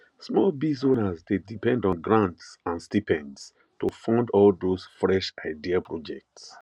small biz owners dey depend on grants and stipends to fund all those fresh idea projects